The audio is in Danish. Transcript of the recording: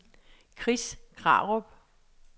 Chris Krarup